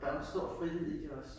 Der jo en stor frihed i det også